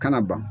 Kana ban